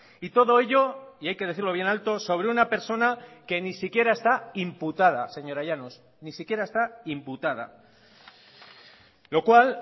y todo ello y hay que decirlo bien alto sobre una persona que ni siquiera está imputada señora llanos ni siquiera está imputada lo cual